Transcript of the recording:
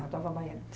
A tua avó baiana.